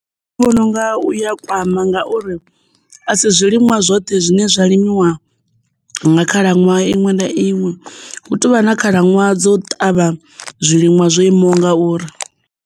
Nṋe ndi vhona unga uya kwama ngauri a si zwiliṅwa zwoṱhe zwine zwa limiwa nga khalaṅwaha iṅwe na iṅwe, hu tovha na khalaṅwaha dzo ṱavha zwiliṅwa zwo imaho nga uri.